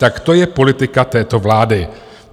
Tak to je politika této vlády.